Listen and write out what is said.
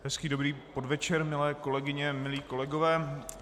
Hezký dobrý podvečer, milé kolegyně, milí kolegové.